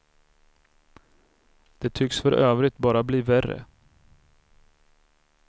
De tycks för övrigt bara bli värre.